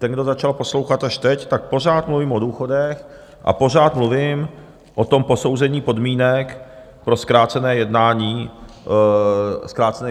Ten, kdo začal poslouchat až teď, tak pořád mluvím o důchodech a pořád mluvím o tom posouzení podmínek pro zkrácené jednání.